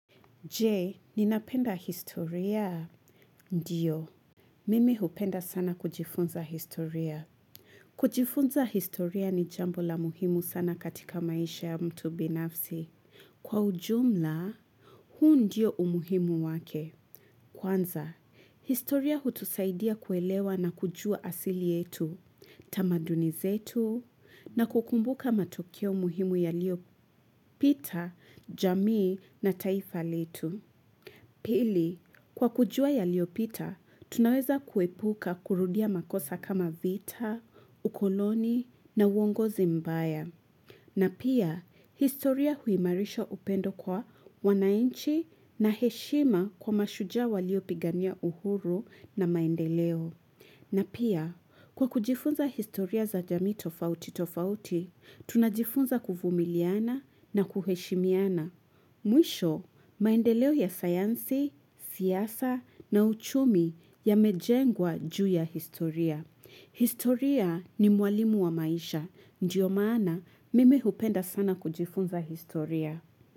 Jee, ninapenda historia? Ndiyo, mimi hupenda sana kujifunza historia. Kujifunza historia ni jambo la muhimu sana katika maisha ya mtu binafsi. Kwa ujumla, huu ndiyo umuhimu wake. Kwanza, historia hutusaidia kuelewa na kujua asili yetu, tamaduni zetu, na kukumbuka matukio muhimu yaliopita, jamii na taifa letu. Pili, kwa kujua yaliopita, tunaweza kuepuka kurudia makosa kama vita, ukoloni na uongozi mbaya. Na pia, historia huimarisha upendo kwa wanainchi na heshima kwa mashuja waliopigania uhuru na maendeleo. Na pia, kwa kujifunza historia za jamii tofauti tofauti, tunajifunza kuvumiliana na kuheshimiana. Mwisho maendeleo ya sayansi, siyasa na uchumi yamejengwa juu ya historia. Historia ni mwalimu wa maisha. Ndiyo maana mimi hupenda sana kujifunza historia.